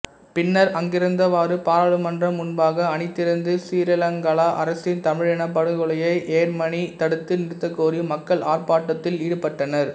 பின்னர் அங்கிருந்தவாறு பாராளுமன்றம் முன்பாக அணிதிரண்டு சிறீலங்கா அரசின் தமிழினப் படுகொலையை யேர்மனி தடுத்து நிறுத்தக்கோரி மக்கள் ஆர்ப்பாட்டத்தில் ஈடுபட்டனர்